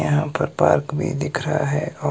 यहां पर पार्क भी दिख रहा है औ--